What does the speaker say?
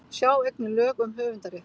Sjá einnig lög um höfundarrétt.